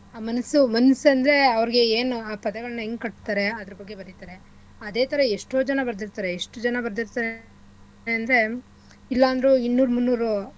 ಆ ಮನಸ್ಸು ಮನ್ಸಂದ್ರೆ ಅವ್ರ್ಗೆ ಎನ್ ಆ ಪದಗಳ್ನ ಹೆಂಗ್ ಕಟ್ತಾರೆ ಅದ್ರ ಬಗ್ಗೆ ಬರಿತರೆ ಅದೇಥರಾ ಎಷ್ಟೋ ಜನ ಬರದಿರ್ತಾರೆ ಎಷ್ಟು ಜನ ಬರದಿರ್ತಾರೆ ಅಂದ್ರೆ ಇಲ್ಲಾಂದ್ರೂ ಇನ್ನೂರ್ ಮುನ್ನೂರು.